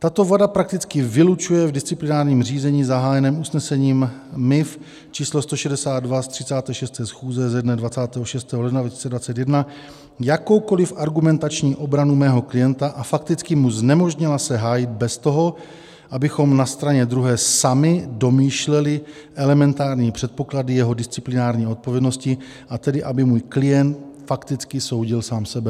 Tato vada prakticky vylučuje v disciplinárním řízení zahájeném usnesením MIV č. 162 z 36. schůze ze dne 26. ledna 2021 jakoukoliv argumentační obranu mého klienta a fakticky mu znemožnila se hájit bez toho, abychom na straně druhé sami domýšleli elementární předpoklady jeho disciplinární odpovědnosti, a tedy aby můj klient fakticky soudil sám sebe.